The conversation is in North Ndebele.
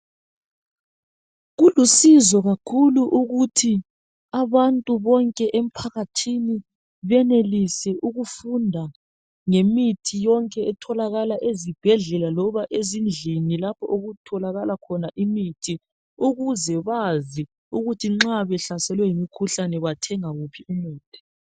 Kulusizo kakhulu ukuthi abantu bonke emphakathini benelise ukufunda ngemithi yonke etholakala ezibhedlela loba ezindlini lapho okutholakala khona imithi ukuze Bazi ukuthi nxa behlaselwe yimikhuhlane bathenga wuphi umuthi.